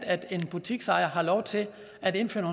at en butiksejer har lov til at indføre